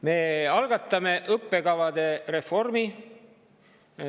Me algatame õppekavade reformi.